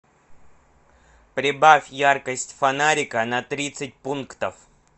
прибавь яркость фонарика на тридцать пунктов